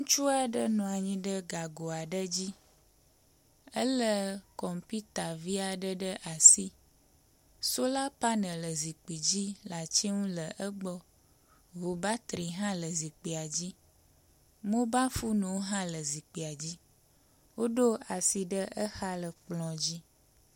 Ŋutsu aɖe nɔ anyi ɖe gago aɖe dzi ele kɔmpita vi aɖe ɖe asi. Sola panel le zikpui dzi le ati ŋu le egbɔ. Ŋubatri hã le zikpia dzi. Mobile foniwo hã le zikpuia dzi. Woɖo asi ɖe exa le kplɔ dzi.